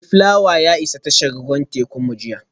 Mayflower ya isa tashar ruwan tekunmu jiya